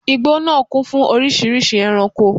Igbó nàá kún fún oríṣìíríṣìí ẹranko